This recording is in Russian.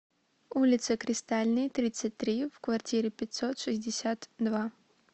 улице кристальной тридцать три в квартире пятьсот шестьдесят два